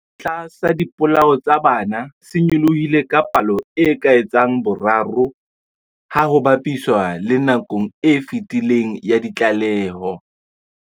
Sekgahla sa dipolao tsa bana se nyolohile ka palo e ka etsang boraro ha ho ba piswa le nakong e fetileng ya ditlaleho.